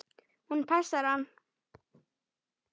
Hún passar hann!